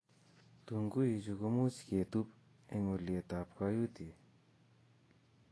tunguichu ko kemuch ketub eng' ulietab kayutie